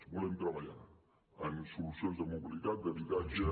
volem treballar en solucions de mobilitat d’habitatge